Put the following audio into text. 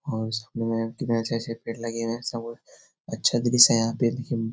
और उसमें कितने अच्छे-अच्छे पेड़ लगे हुए हैं। सब अच्छा दृश्य है यहाँ पे देखने --